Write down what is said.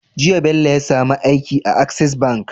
Jiya Bello ya samu aiki a access bank